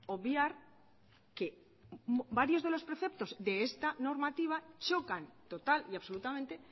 obviar que varios de los preceptos de esta normativa chocan total y absolutamente